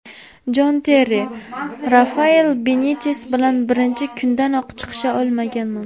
Jon Terri: Rafael Benites bilan birinchi kundanoq chiqisha olmaganman.